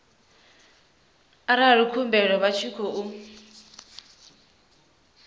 arali khumbelo vha tshi khou